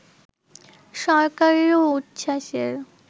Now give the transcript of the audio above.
সরকারেরও উচ্ছ্বাসের